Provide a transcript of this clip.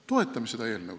Toetage seda eelnõu.